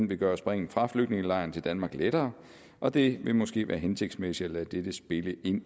vil gøre springet fra flygtningelejren til danmark lettere og det vil måske være hensigtsmæssigt at lade dette spille ind